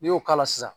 N'i y'o k'a la